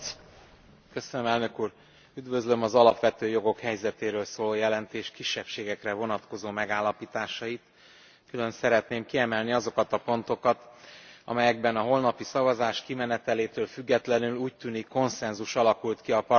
Üdvözlöm az alapvető jogok helyzetéről szóló jelentés kisebbségekre vonatkozó megállapításait, külön szeretném kiemelni azokat a pontokat, amelyekben a holnapi szavazás kimenetelétől függetlenül úgy tűnik, konszenzus alakult ki a parlamenti frakciók között.